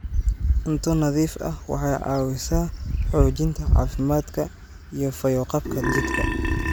Cunto nadiif ah waxay caawisaa xoojinta caafimaadka iyo fayo-qabka jidhka.